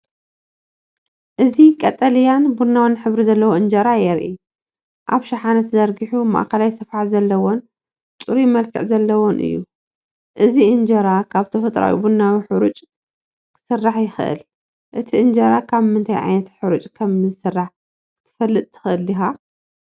እዚ ቀጠልያን ቡናውን ሕብሪ ዘለዎ እንጀራ የርኢ። ኣብ ሸሓነ ተዘርጊሑ፡ ማእከላይ ስፍሓት ዘለዎን ጽሩይ መልክዕ ዘለዎን እዩ። እዚ እንጀራ ካብ ተፈጥሮኣዊ ቡናዊ ሕርጭ ዝክስራሕ ይኽእል እቲ እንጀራ ካብ ምንታይ ዓይነት ሓርጭ ከም ዝስራሕ ክትፈልጥ ትኽእል ዲኻ?